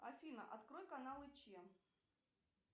афина открой каналы че